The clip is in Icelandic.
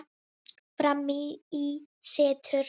Frammi í situr